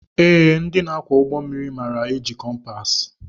Ee, ndị ọkwọ ụgbọ mmiri maara éjị kọmpaasi.